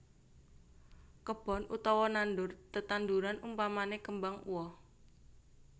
Kebon utawa nandur tetandhuran umpamane kembang uwoh